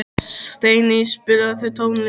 Steiney, spilaðu tónlist.